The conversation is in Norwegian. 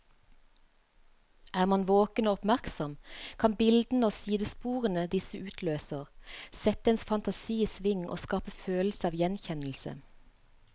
Er man våken og oppmerksom, kan bildene og sidesporene disse utløser, sette ens fantasi i sving og skape følelse av gjenkjennelse.